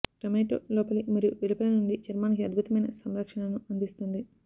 tomato లోపలి మరియు వెలుపల నుండి చర్మానికి అద్భుతమైన సంరక్షణను అందిస్తుంది